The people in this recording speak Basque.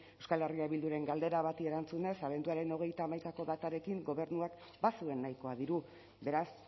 euskal herria bilduren galdera bati erantzunez abenduaren hogeita hamaikako datarekin gobernuak bazuen nahikoa diru beraz